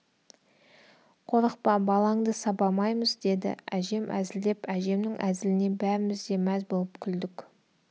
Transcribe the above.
қорықпа балаңды сабамаймыз деді әжем әзілдеп әжемнің әзіліне бәріміз де мәз болып күлдік